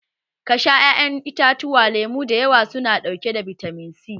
Ka sha ƴaƴan itatuwa lemu da yawa su na ɗauke da bitamin C